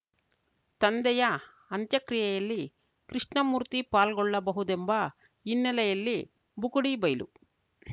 ತಂದೆಯ ಅಂತ್ಯಕ್ರಿಯೆಯಲ್ಲಿ ಕೃಷ್ಣಮೂರ್ತಿ ಪಾಲ್ಗೊಳ್ಳಬಹುದೆಂಬ ಹಿನ್ನೆಲೆಯಲ್ಲಿ ಬುಕುಡಿಬೈಲು